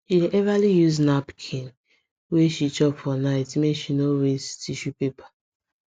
she dey everly use napkin whe she chop for night make she no waste tissue paper